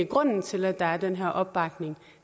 grunden til at der er den her opbakning